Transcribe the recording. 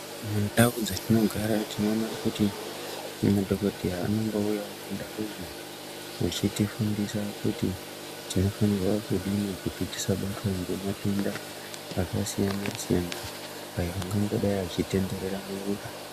Mundau dzatinogara tinoona kuti madhokodheya anombouyawo kundau vechitifundisa kuti tinofanirwa kudini kuti tisabatwa ngematenda akasiyana siyana aya angangodai achitenderera munyika.